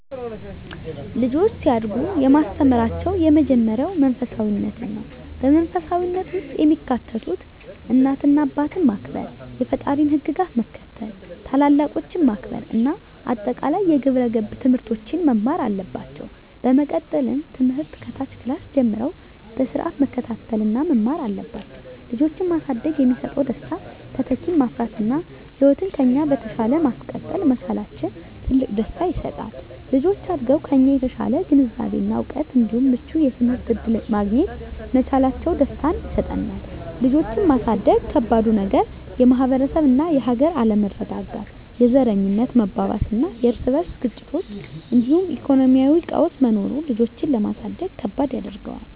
ልጆች ሲያድጉ የማስተምራቸው የመጀመሪያው መንፈሳፊነትን ነው። በመንፈሳዊነት ውስጥ የሚካተቱት እናት አባትን ማክበር፣ የፈጣሪን ህግጋት መከተል፣ ታላላቆችን ማክበር እና አጠቃላይ የግብረ ገብ ትምህርቶችን መማር አለባቸው። በመቀጠልም ትምህርት ከታች ክላስ ጀምረው በስርአት መከታተል እና መማር አለባቸው። ልጆችን ማሳደግ የሚሰጠው ደስታ:- - ተተኪን ማፍራት እና ህይወትን ከኛ በተሻለ ማስቀጠል መቻላችን ትልቅ ደስታ ይሰጣል። - ልጆች አድገው ከኛ የተሻለ ግንዛቤ እና እውቀት እንዲሁም ምቹ የትምህርት እድል ማግኘት መቻላቸው ደስታን ይሰጠናል። ልጆችን ማሳደግ ከባዱ ነገር:- - የማህበረሰብ እና የሀገር አለመረጋጋት፣ የዘረኝነት መባባስና የርስ በርስ ግጭቶች እንዲሁም የኢኮኖሚ ቀውስ መኖሩ ልጆችን ለማሳደግ ከባድ ያደርገዋል።